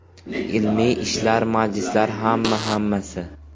Ilmiy ishlar, majlislar, hamma-hammasi.